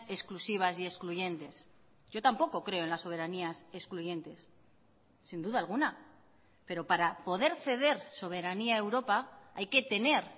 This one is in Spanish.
exclusivas y excluyentes yo tampoco creo en las soberanías excluyentes sin duda alguna pero para poder ceder soberanía a europa hay que tener